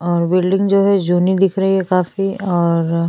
और बिल्डिंग जो है जूनि दिख रही है काफी और--